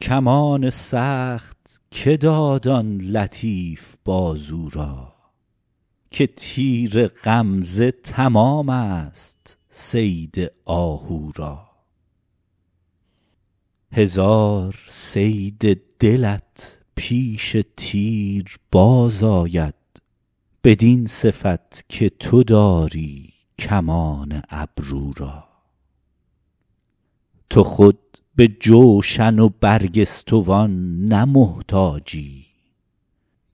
کمان سخت که داد آن لطیف بازو را که تیر غمزه تمام ست صید آهو را هزار صید دلت پیش تیر باز آید بدین صفت که تو داری کمان ابرو را تو خود به جوشن و برگستوان نه محتاجی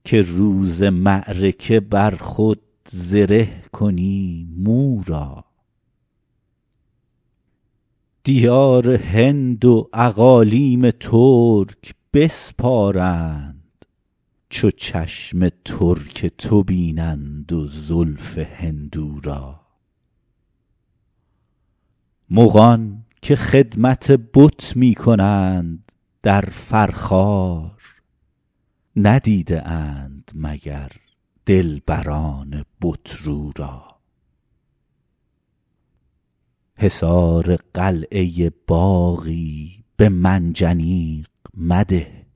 که روز معرکه بر خود زره کنی مو را دیار هند و اقالیم ترک بسپارند چو چشم ترک تو بینند و زلف هندو را مغان که خدمت بت می کنند در فرخار ندیده اند مگر دلبران بت رو را حصار قلعه باغی به منجنیق مده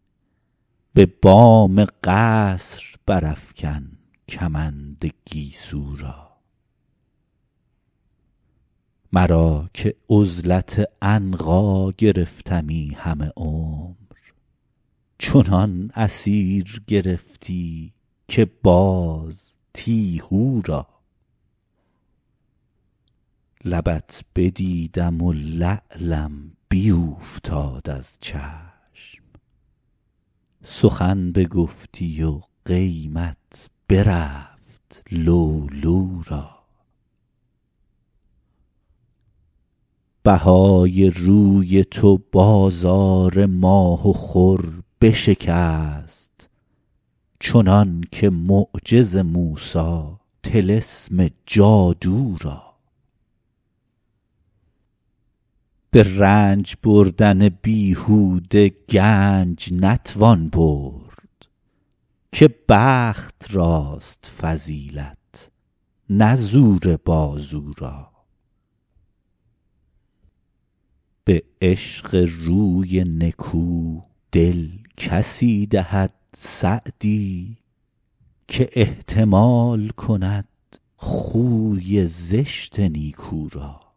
به بام قصر برافکن کمند گیسو را مرا که عزلت عنقا گرفتمی همه عمر چنان اسیر گرفتی که باز تیهو را لبت بدیدم و لعلم بیوفتاد از چشم سخن بگفتی و قیمت برفت لؤلؤ را بهای روی تو بازار ماه و خور بشکست چنان که معجز موسی طلسم جادو را به رنج بردن بیهوده گنج نتوان برد که بخت راست فضیلت نه زور بازو را به عشق روی نکو دل کسی دهد سعدی که احتمال کند خوی زشت نیکو را